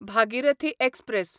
Bhagirathi express